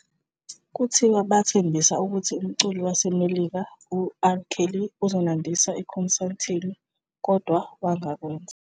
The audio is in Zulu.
Kuthiwa bathembisa ukuthi umculi waseMelika uR Kelly uzonandisa ekhonsathini, kodwa wangakwenza.